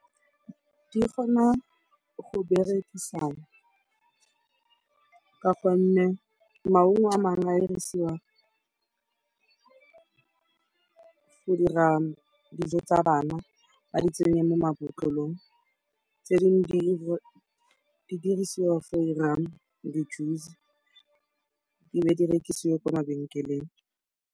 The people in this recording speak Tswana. Di kgona go berekisana ka gonne maungo a mangwe a dirisiwa go dira dijo tsa bana, ba di tsenye mo mabotlolong, tse dingwe di dirisiwa go dira di-juice, di be di rekisiwe kwa mabenkeleng.